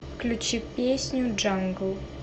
включи песню джангл